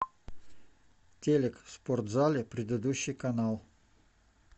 телек в спортзале предыдущий канал